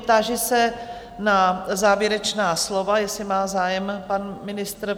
Táži se na závěrečná slova, jestli má zájem pan ministr?